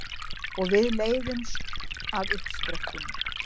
Og við leiðumst að uppsprettunni.